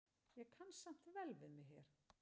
Ég kann samt vel við mig hér.